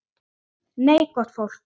Nei, gott fólk.